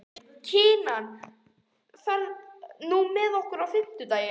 Kinan, ferð þú með okkur á fimmtudaginn?